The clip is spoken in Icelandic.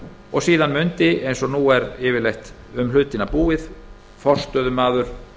og síðan mundi eins og nú er yfirleitt um hlutina búið forstöðumaður